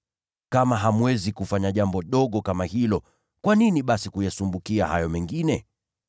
Kama hamwezi kufanya jambo dogo kama hilo, kwa nini basi kuyasumbukia hayo mengine?